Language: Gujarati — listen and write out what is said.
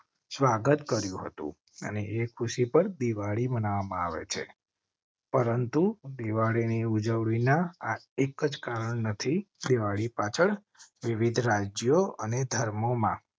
સ્વાગત કર્યું હતું અને એ ખુશી પર દિવાળી મનાવવા માં આવે છે. પરંતુ દિવાળી ની ઉજવણી ના એક જ કારણ નથી. દિવાળી પાછળ વિવિધ રાજ્યો અને ધર્મોમાં